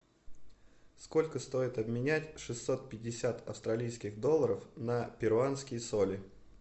сколько стоит обменять шестьсот пятьдесят австралийских долларов на перуанские соли